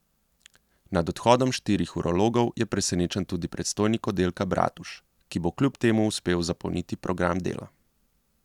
Nad odhodom štirih urologov je presenečen tudi predstojnik oddelka Bratuš, ki bo kljub temu uspel zapolniti program dela.